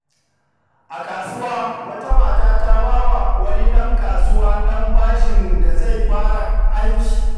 A kasuwa, wata mata ta ba wa wani ɗan kasuwa ɗan bashin da zai fara aiki.